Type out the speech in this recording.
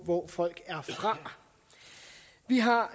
hvor folk er fra vi har